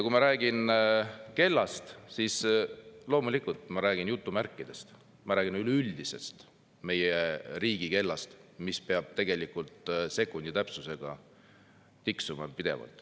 Kui ma räägin kellast, siis loomulikult ma räägin sellest jutumärkides, ma räägin üleüldiselt meie riigi kellast, mis peab sekundi täpsusega pidevalt tiksuma.